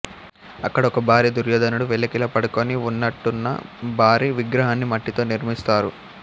అక్కడ ఒక భారి ధుర్యోధనుడు వెల్లకిలా పడుకొని వున్నట్టున్న బారి విగ్రహాన్ని మట్టితో నిర్మిస్తారు